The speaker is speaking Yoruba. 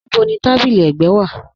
Níbò ni tábílí ẹ̀gbẹ̀ wa?